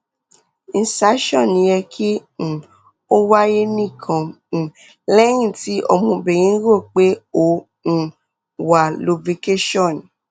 insertion yẹ ki um o waye nikan um lẹhin ti ọmọbirin ro pe o um wa lubrication